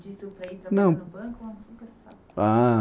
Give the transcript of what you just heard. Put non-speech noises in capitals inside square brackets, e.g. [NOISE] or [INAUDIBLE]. Disse para ir trabalhar no banco ou no [UNINTELLIGIBLE]